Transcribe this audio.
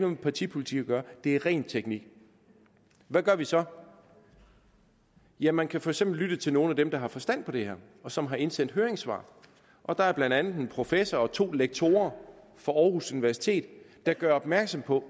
med partipolitik at gøre det er ren teknik hvad gør vi så ja man kan for eksempel lytte til nogle af dem der har forstand på det og som har indsendt høringssvar der er blandt andet en professor og to lektorer fra aarhus universitet der gør opmærksom på